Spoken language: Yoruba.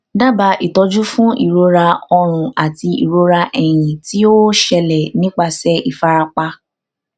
dábàá ìtọjú fún ìrora ọrùn àti ìrora ẹyìn tí ó ṣẹlẹ nípasẹ ìfarapa